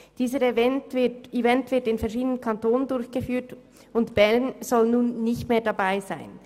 Dieser Event wird in verschiedenen Kantonen durchgeführt und Bern soll nun nicht mehr dabei sein.